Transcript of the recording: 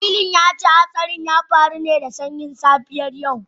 Wakilin ya ce hatsarin ya faru ne da sanyin safiyar yau